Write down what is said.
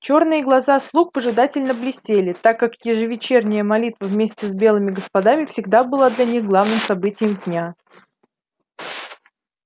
чёрные глаза слуг выжидательно блестели так как ежевечерняя молитва вместе с белыми господами всегда была для них главным событием дня